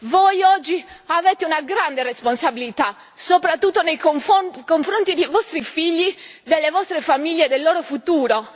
Voi oggi avete una grande responsabilità, soprattutto nei confronti dei vostri figli, delle vostre famiglie, del loro futuro.